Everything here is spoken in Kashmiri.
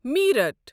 میرَٹ